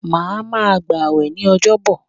Má ma gbà wẹ̀ ní ọjọ́ bọ̀!